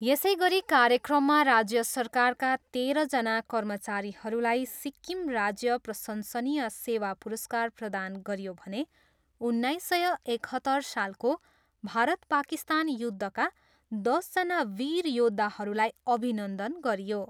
यसै गरी कार्यक्रममा राज्य सरकारका तेह्रजना कर्मचारीहरूलाई सिक्किम राज्य प्रशंसनीय सेवा पुरस्कार प्रदान गरियो भने उन्नाइस सय एकहत्तर सालको भारत पाकिस्तान युद्धका दसजना वीर योद्धाहरूलाई अभिनन्दन गरियो।